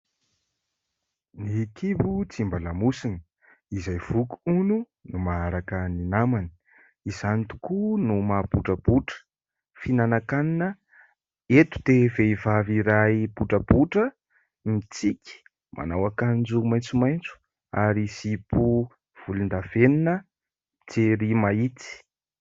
Ny kibo tsy mba lamosina, izay voky hono no maharaka ny namany, izany tokoa no maha botrabotra fihinanankanina. Eto dia vehivavy iray botrabotra mitsiky, manao akanjo maitsomaitso ary zipo volondavenona, jery mahitsy.